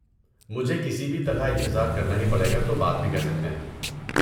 مجھے کسی بھی طرح انتظار کرنا ہی پڑے گا تو بات بھی کر سکتے ہیں۔